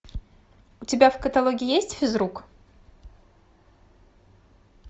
у тебя в каталоге есть физрук